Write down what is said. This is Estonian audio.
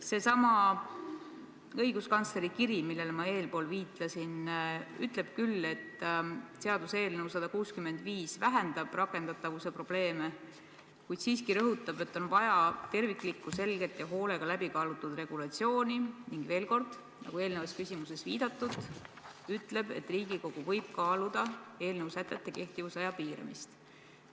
Seesama õiguskantsleri kiri, millele ma eespool viitasin, ütleb küll, et seaduseelnõu 165 vähendab rakendatavuse probleeme, kuid siiski rõhutab, et on vaja terviklikku, selget ja hoolega läbi kaalutud regulatsiooni, ning veel kord, nagu eelnevas küsimuses viidatud, ütleb, et Riigikogu võib kaaluda eelnõu sätete kehtivusaja piiramist.